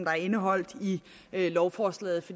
er indeholdt i lovforslaget